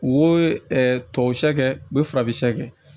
U ye tɔw sɛ kɛ u bɛ farafin sɛ kɛ